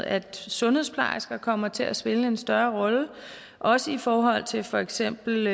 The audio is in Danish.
at sundhedsplejersker kommer til at spille en større rolle også i forhold til for eksempel